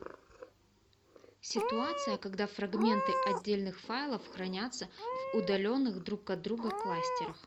ситуация когда фрагменты отдельных файлов хранятся в удаленных друг от друга кластерах